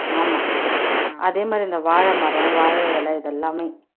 ஆமா அதே மாதிரி இந்த வாழைமரம் வாழை இலை இதெல்லாமே